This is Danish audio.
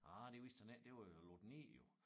Ah det vidste han ikke det var jo lukket ned jo